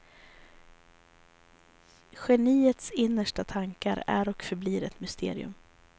Geniets innersta tankar är och förblir ett mysterium.